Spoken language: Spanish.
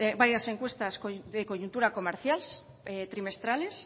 varias encuestas de coyuntura comercial trimestrales